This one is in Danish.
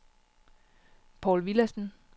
Paul Villadsen